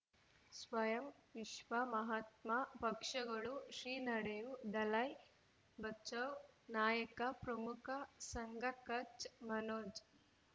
ಸ್ವಯಂ ವಿಶ್ವ ಮಹಾತ್ಮ ಪಕ್ಷಗಳು ಶ್ರೀ ನಡೆಯೂ ದಲೈ ಬಚೌ ನಾಯಕ ಪ್ರಮುಖ ಸಂಘ ಕಚ್ ಮನೋಜ್